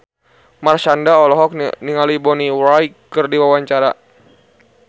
Marshanda olohok ningali Bonnie Wright keur diwawancara